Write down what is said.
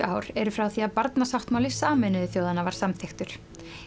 ár eru frá því að barnasáttmáli Sameinuðu þjóðanna var samþykktur